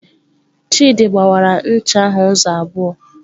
Chidi gbawara ncha ahụ ụzọ abụọ.